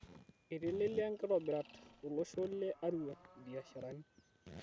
Eitelelia nkitobirat to losho le Arua mbiasharani